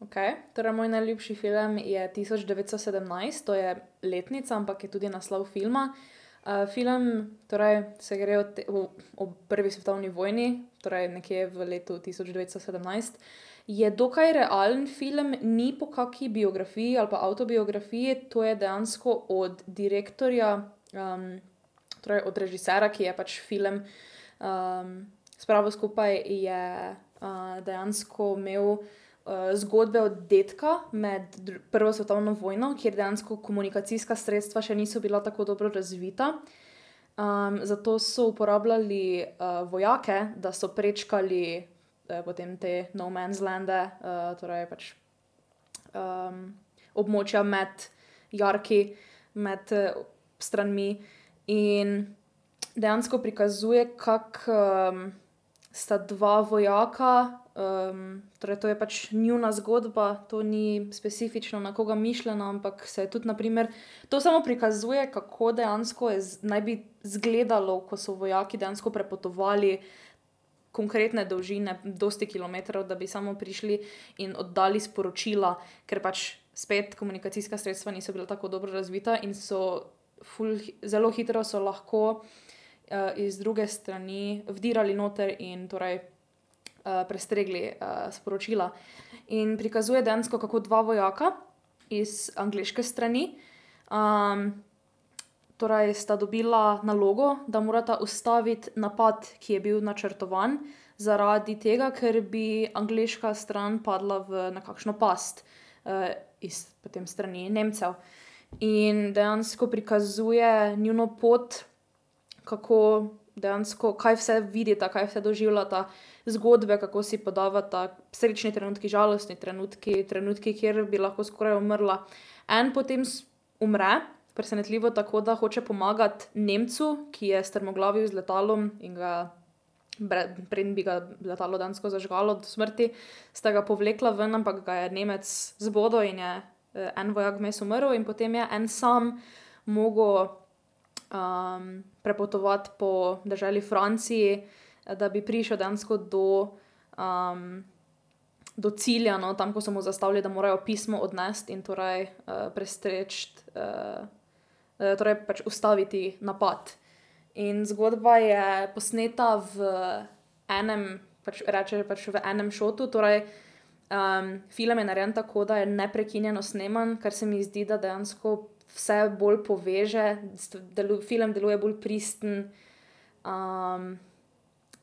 Okej, torej moj najljubši film je Tisoč devetsto sedemnajst, to je letnica, ampak je tudi naslov filma. film torej se gre v v, o, o prvi svetovni vojni, torej nekje v letu tisoč devetsto sedemnajst. Je dokaj realen film, ni po kaki biografiji ali pa avtobiografiji, to je dejansko od direktorja, torej od režiserja, ki je pač film, spravil skupaj, je, dejansko imel, zgodbe od dedka, med prvo svetovno vojno, kjer dejansko komunikacijska sredstva še niso bila tako dobro razvita. zato so uporabljali, vojake, da so prečkali, potem te no man's lande, torej pač, območja med jarki med, stranmi in dejansko prikazuje, kako, sta dva vojaka, torej to je pač njuna zgodba, to ni specifično na koga mišljena, ampak se tudi na primer, to samo prikazuje, kako dejansko je naj bi izgledalo, ko so vojaki dejansko prepotovali konkretne dolžine, dosti kilometrov, da bi samo prišli in oddali sporočila. Ker pač spet komunikacijska sredstva niso bila tako dobro razvita in so ful zelo hitro so lahko, iz druge strani vdirali noter in torej, prestregli, sporočila. In prikazuje dejansko, kako dva vojaka iz angleške strani, torej sta dobila nalogo, da morata ustaviti napad, ki je bil načrtovan, zaradi tega, ker bi angleška stran padla v nekakšno past. iz potem strani Nemcev. In dejansko prikazuje njuno pot, kako dejansko, kaj vse vidita, kaj vse doživljata, zgodbe, kako si podavata, srečni trenutki, žalostni trenutki, trenutki, kjer bi lahko skoraj umrla. En potem umre, presenetljivo, tako da hoče pomagati Nemcu, ki je strmoglavil z letalom, in ga preden bi ga letalo dejansko zažgalo do smrti, sta ga povlekla ven, ampak ga je Nemec zbodel in, en vojak vmes umrl in potem je en sam mogel, prepotovati po deželi Franciji, da bi prišel dejansko do, do cilja, no, tam ko so mu zastavili, da morajo pismo odnesti in torej, prestreči, torej pač ustaviti napad. In zgodba je posneta v enem, pač reče, pač v enem shotu, torej, film je narejen tako, da je neprekinjeno sneman, kar se mi zdi, da dejansko vse bolj poveže, film deluje bolj pristen.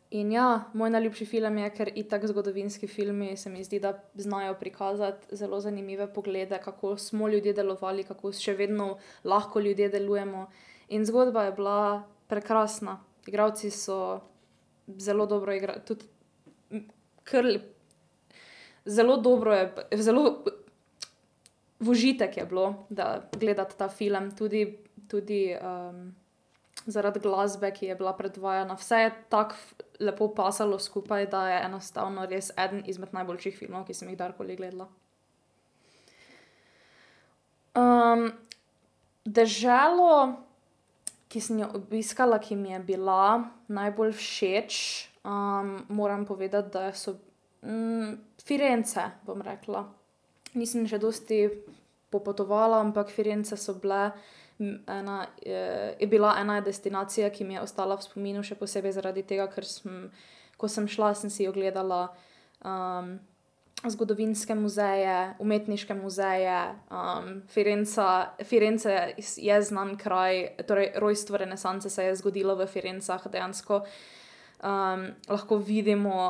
in ja, moj najljubši film je, ker itak zgodovinski filmi, se mi zdi, da znajo prikazati zelo zanimive poglede, kako smo ljudje delovali, kako še vedno lahko ljudje delujemo in zgodba je bila prekrasna. Igralci so zelo dobro tudi, ker, zelo dobro je zelo, v užitek je bilo, da gledati ta film tudi, tudi, zaradi glasbe, ki je bila predvajana, vse je tako lepo pasalo skupaj, da je enostavno res eden izmed najboljših filmov, ki sem jih kadarkoli gledala. deželo, ki sem jo obiskala, ki mi je bila najbolj všeč, moram povedati, da so Firence, bom rekla. Nisem še dosti popotovala, ampak Firence so bile ena, je bila ena destinacija, ki mi je ostala v spominu še posebej zaradi tega, ker sem, ko sem šla, sem si ogledala, zgodovinske muzeju, umetniške muzeju, Firenca, Firence je znan kraj, torej rojstvo renesanse se je zgodilo v Firencah dejansko. lahko vidimo,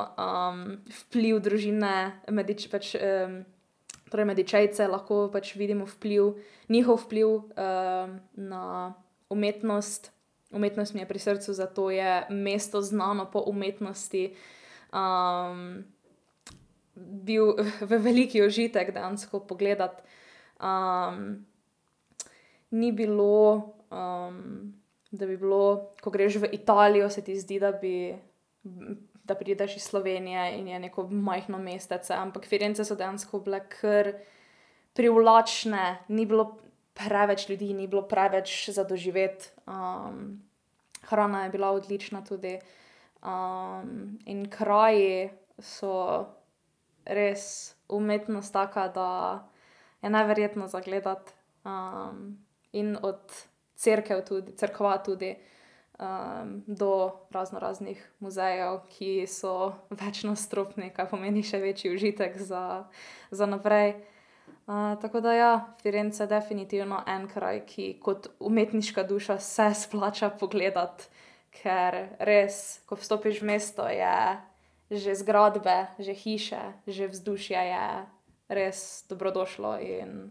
vpliv družine pač, torej Medičejce, lahko pač vidimo vpliv, njihov vpliv, na umetnost. Umetnost mi je pri srcu, zato je mesto znano po umetnosti. bil velik užitek dejansko pogledati, Ni bilo, da bi bilo, ko greš v Italijo, se ti zdi, da bi, da prideš iz Slovenije in je neko majhno mestece, ampak Firence so dejansko bile kar privlačne, ni bilo preveč ljudi, ni bilo preveč za doživeti, hrana je bila odlična tudi, in kraju so res umetnost taka, da je neverjetno za gledati. in od cerkev tudi cerkva tudi, do raznoraznih muzejev, ki so večnadstropni, kar pomeni še večji užitek za, za naprej, tako da ja, Firence definitivno en kraj, ki kot umetniška duša, se splača pogledati, ker res, ko vstopiš v mesto, je že zgradbe, že hiše, že vzdušje je res dobrodošlo in,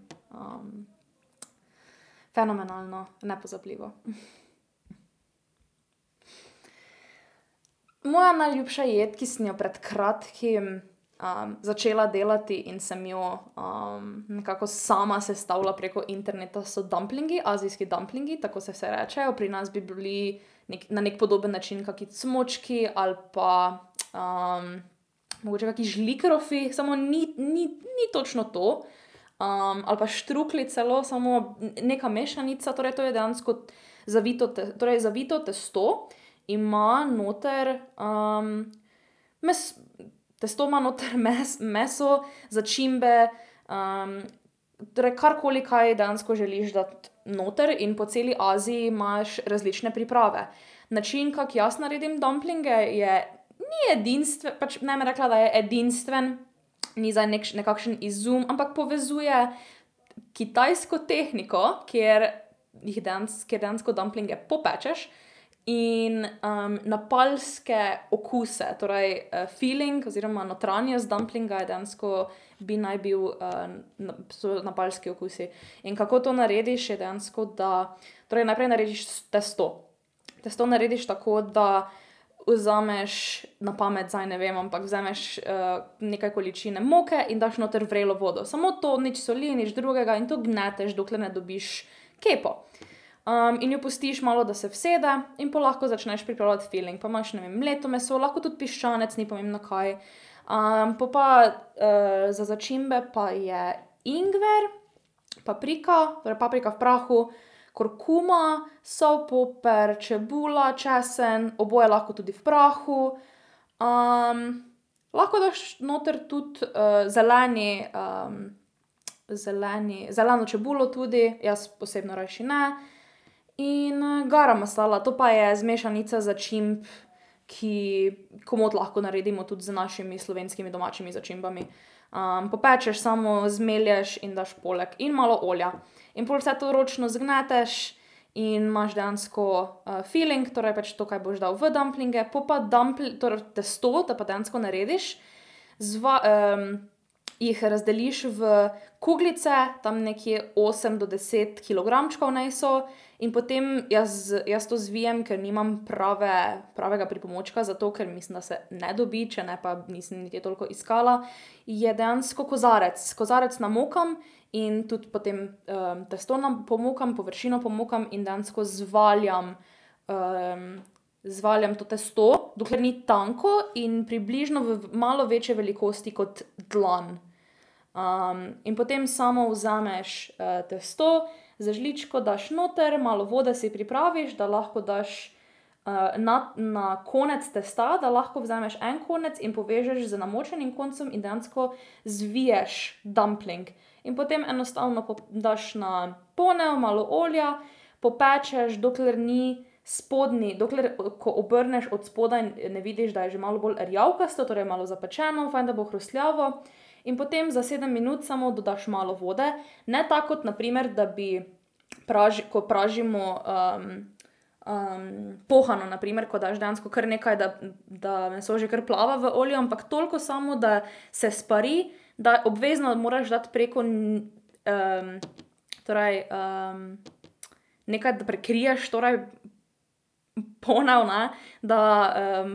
fenomenalno, nepozabljivo. Moja najljubša jed, ki sem jo pred kratkim, začela delati in sem jo, nekako sama sestavila preko interneta, so dumplingi, azijski dumplingi, tako se vsaj rečejo, pri nas bi bili na neki podoben način kaki cmočki ali pa , mogoče kaki žlikrofi, samo ni ni ni točno to. Eeem, ali pa štruklji celo, samo neka mešanica, torej to je dejansko zavito torej zavito testo ima noter, testo ima noter meso, začimbe, torej karkoli, kaj dejansko želiš dati noter in po celi Aziji imaš različne priprave. Način, kako jaz naredim dumplinge, je ni pač ne bom rekla, da je edinstven, ni zdaj nekakšen izum, ampak povezuje kitajsko tehniko, kjer jih kjer dejansko dumpling popečeš in, napalske okuse, torej filling oziroma notranjost dumplinga je dejansko bi naj bil, so napalski okusi. In kako to narediš, je dejansko, da torej najprej narediš testo, testo narediš tako, da vzameš, na pamet zdaj ne vem, ampak vzameš, nekaj količine moke in daš noter vrelo vodo, samo to, nič soli, nič drugega in to gneteš, dokler ne dobiš kepo, in jo pustiš malo, da se usede, in pol lahko začneš pripravljati filling. Pa imaš, ne vem, mleto meso, lahko tudi piščanec, ni pomembno, kaj, pol pa, za začimbe pa je ingver, paprika, torej paprika v prahu, kurkuma, sol, papir, čebula, česen, oboje lahko tudi v prahu, lahko daš noter tudi, zeleni, zeleni zeleno čebulo tudi, jaz osebno rajši ne, in, garam masala, to pa je mešanica začimb, ki komot lahko naredimo tudi z našimi slovenskimi domačimi začimbami. popečeš samo, zmelješ in daš poleg in malo olja in pol vse to ročno zgneteš in imaš dejansko, filling, torej pač to, kaj boš dal v dumplinge, pol pa torej tisto, te pa dejansko narediš, jih razdeliš v kuglice, tam nekje osem do deset kilogramčkov naj so, in potem jaz, jaz to zvijem, ker nimam prave, pravega pripomočka za to, ker mislim, da se ne dobi, če ne pa nisem niti toliko iskala, je dejansko kozarec, kozarec namokam, in tudi potem, testo pomokam, površino pomokam, in dejansko zvaljam, zvaljam to testo, dokler ni tanko in približno v malo večje velikosti kot dlan, in potem samo vzameš testo, z žličko daš noter, malo vode si pripraviš, da lahko daš, na na konec testa, da lahko vzameš en konec in povežeš z namočenim koncem in dejansko zviješ dumpling in potem enostavno daš na ponev malo olja, popečeš, dokler ni spodnji, dokler ko obrneš odspodaj, ne vidiš, da je že malo bolj rjavkasto, torej malo bolj zapečeno, fajn da bo hrustljavo in potem za sedem minut samo dodaš malo vode, ne tako kot na primer, da bi ko pražimo, pohano na primer, ko daš dejansko, kar nekaj, da meso že kar plava v olju, ampak toliko samo, da se spari, da obvezno moraš dati preko torej, nekaj, da prekriješ torej ponev, ne, da,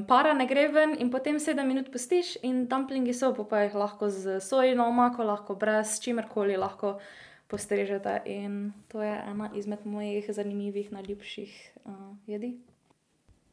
para ne gre ven in potem sedem minut pustiš in dumplingi so, pol pa jih lahko s sojino omako, lahko brez, s čimerkoli lahko postrežete in to je ena izmed mojih zanimivih, najljubših, jedi.